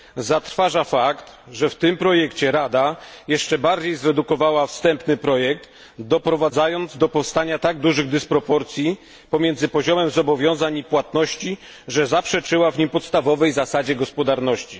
Zatrważa fakt, że w tym projekcie Rada jeszcze bardziej zredukowała wstępny projekt, doprowadzając do powstania tak dużych dysproporcji pomiędzy poziomem zobowiązań i płatności, że zaprzeczyła w nim podstawowej zasadzie gospodarności.